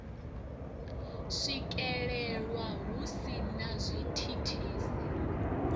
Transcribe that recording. swikelelwa hu si na zwithithisi